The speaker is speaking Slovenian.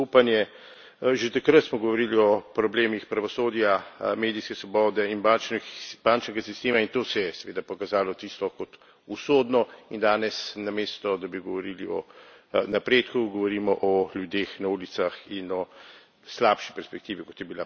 Že takrat smo govorili o problemih pravosodja, medijske svobode in bančnega sistema, in to se je seveda pokazalo kot usodno, in danes namesto da bi govorili o napredku, govorimo o ljudeh na ulicah in o slabši perspektivi, kot je bila pred enim letom.